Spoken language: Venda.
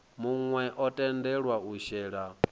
muwe o tendelwa u shela